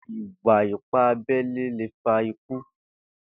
Ìwá ìpá àbẹlé lé fá ikù